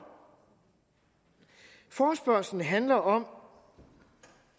forespørgslen handler om